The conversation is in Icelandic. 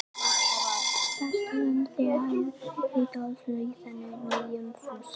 Saman störðu þær í dáleiðslu á þennan nýja Fúsa.